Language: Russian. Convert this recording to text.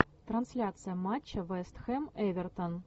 трансляция матча вест хэм эвертон